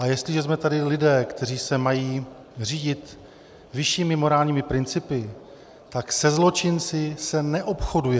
A jestliže jsme tady lidé, kteří se mají řídit vyššími morálními principy, tak se zločinci se neobchoduje.